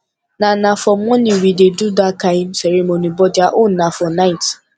na na for morning we dey do dat kin ceremony but their own na for night